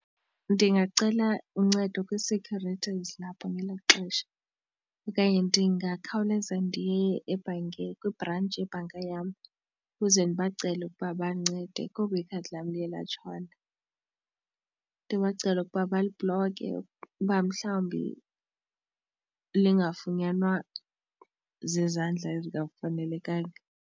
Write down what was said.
Ndingacela uncedo kwii-security ezilapho ngelaa xesha okanye ndingakhawuleza ndiye ebhankeni kwibhrentshi yebhanka yam ukuze ndibacele ukuba bandincede kuba ikhadi lam liye latshona. Ndibacela ukuba balibhloke uba mhlawumbi lingafunyanwa zizandla ezingafanelekanga.